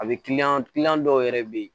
A bɛ dɔw yɛrɛ bɛ yen